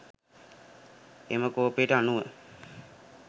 එම කෝපයට අනුව